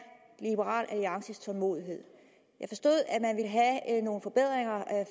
liberal alliances tålmodighed jeg forstod at man vil have nogle forbedringer